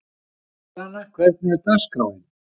Indíana, hvernig er dagskráin?